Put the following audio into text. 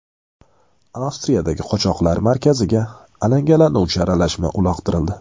Avstriyadagi qochoqlar markaziga alangalanuvchi aralashma uloqtirildi.